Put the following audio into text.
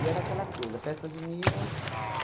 E era aquela coisa, festa juninas.